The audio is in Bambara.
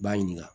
B'a ɲininka